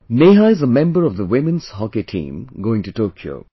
Neha is a member of the women's hockey team going to Tokyo